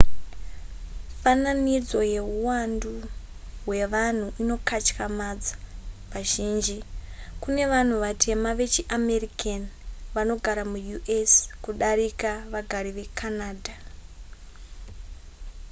fananidzo yehuwandu hwevanhu inokatyamadza vazhinji kune vanhu vatema vechiamerican vanogara muus kudarika vagari vecanada